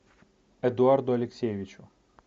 эдуарду алексеевичу